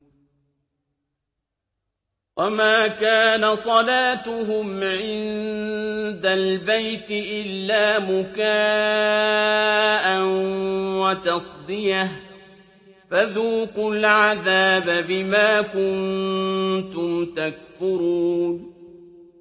وَمَا كَانَ صَلَاتُهُمْ عِندَ الْبَيْتِ إِلَّا مُكَاءً وَتَصْدِيَةً ۚ فَذُوقُوا الْعَذَابَ بِمَا كُنتُمْ تَكْفُرُونَ